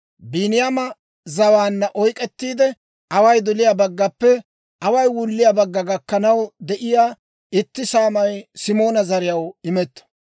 Biiniyaama zawaanna oyk'k'ettiide, away doliyaa baggappe away wulliyaa bagga gakkanaw de'iyaa itti saamay Simoona zariyaw imetto.